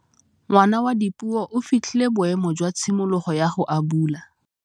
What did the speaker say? Ngwana wa Dipuo o fitlhile boêmô jwa tshimologô ya go abula.